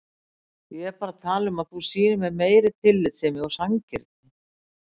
Ég er bara að tala um að þú sýnir mér meiri tillitssemi og sanngirni.